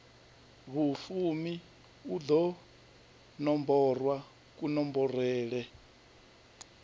vhufumi u ḓo nomborwa kunomborele